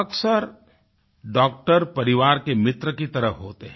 अक्सर डॉक्टर परिवार के मित्र की तरह होते हैं